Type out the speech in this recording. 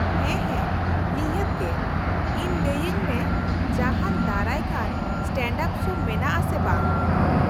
-ᱦᱟ ᱦᱟ ᱱᱤᱦᱟᱹᱛ ᱜᱮ ! ᱤᱧ ᱞᱟᱹᱭ ᱟᱹᱧ ᱢᱮ ᱡᱟᱦᱟᱱ ᱫᱟᱨᱟᱭ ᱠᱟᱱ ᱥᱴᱮᱱᱰᱼᱟᱯ ᱥᱳ ᱢᱮᱱᱟᱜᱼᱟ ᱥᱮ ᱵᱟᱝ ᱾